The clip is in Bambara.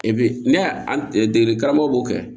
E bɛ ne an dege karamɔgɔ b'o kɛ